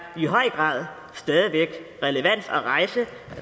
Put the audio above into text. i høj grad stadig væk relevant at rejse